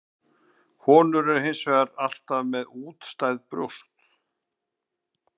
Konur eru hins vegar alltaf með útstæð brjóst.